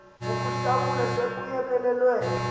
ukuhlakula se kuyekelelwe